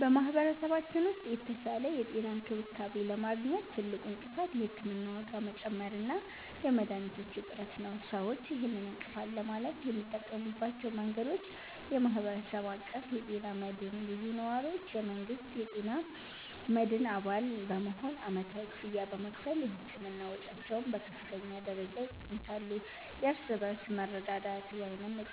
በማኅበረሰባችን ውስጥ የተሻለ የጤና እንክብካቤ ለማግኘት ትልቁ እንቅፋት የሕክምና ዋጋ መጨመር እና የመድኃኒቶች እጥረት ነው። ሰዎች ይህንን እንቅፋት ለማለፍ የሚጠቀሙባቸው መንገዶች፦ የማኅበረሰብ አቀፍ ጤና መድህን (CBHI)፦ ብዙ ነዋሪዎች የመንግሥትን የጤና መድህን አባል በመሆን ዓመታዊ ክፍያ በመክፈል የሕክምና ወጪያቸውን በከፍተኛ ደረጃ ይቀንሳሉ። የእርስ በርስ መረዳዳት